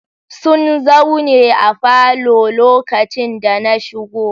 Sun zaune a falo lokacin da na shigo